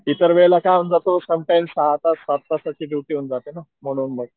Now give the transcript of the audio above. इतर वेळेला काय होऊन जात सम टाइम सहा तास सात तासाची ड्युटी होऊन जाते न म्हणून मग